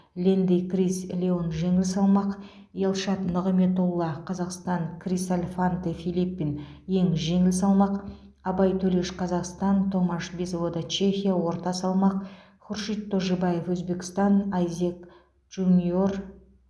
лэнди крис леон жеңіл салмақ елшат нығметолла қазақстан крис альфанте филлипин ең жеңіл салмақ абай төлеш қазақстан томаш безвода чехия орта салмақ хуршид тожибаев өзбекстан айзек джуниор